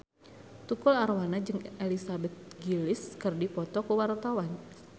Tukul Arwana jeung Elizabeth Gillies keur dipoto ku wartawan